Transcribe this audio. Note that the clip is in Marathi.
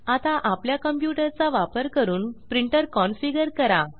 आता आपल्या कंप्यूटर चा वापर करून प्रिंटर कन्फिगर करा